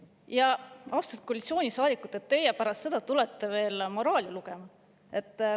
Ja, austatud koalitsioonisaadikud, pärast seda te tulete veel moraali lugema!